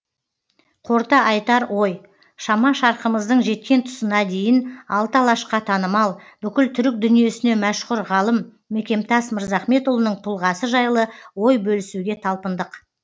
қорыта айтар ой шама шарқымыздың жеткен тұсына дейін алты алашқа танымал бүкіл түрік дүниесіне машһүр ғалым мекемтас мырзахметұлының тұлғасы жайлы ой бөлісуге талпындық